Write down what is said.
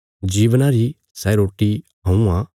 जीवना री सै रोटी हऊँ आ